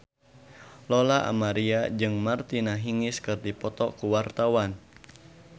Lola Amaria jeung Martina Hingis keur dipoto ku wartawan